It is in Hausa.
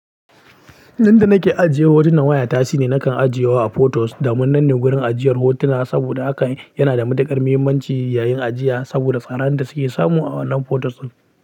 Inda nake ajiye hotunan wayata shi ne nakan ajiye wa a photos, domin nan ne wurin ajiyar hotuna saboda haka yana da matuƙar muhimmanci yayin ajiya saboda tsaran da suke samu a wannan photos ɗin.